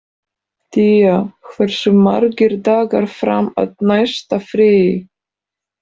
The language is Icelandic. Día, hversu margir dagar fram að næsta fríi?